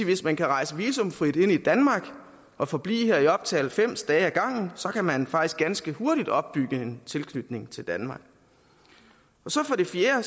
hvis man kan rejse visumfrit ind i danmark og forblive her i op til halvfems dage ad gangen så kan man faktisk ganske hurtigt opbygge en tilknytning til danmark for det fjerde